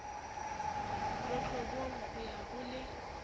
lotlobong ho ya ho le